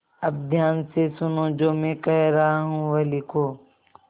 अब ध्यान से सुनो जो मैं कह रहा हूँ वह लिखो